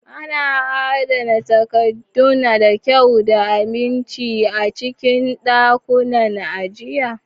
Ana adana takaddun da kyau da aminci a cikin ɗakunan ajiya.